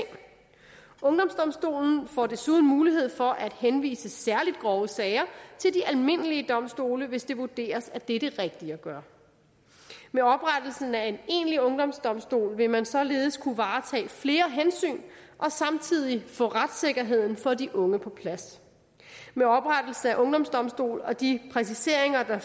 ungdomsdomstolen får desuden mulighed for at henvise særlig grove sager til de almindelige domstole hvis det vurderes at det er det rigtige at gøre med oprettelsen af en egentlig ungdomsdomstol vil man således kunne varetage flere hensyn og samtidig få retssikkerheden for de unge på plads med oprettelse af en ungdomsdomstol og de præciseringer der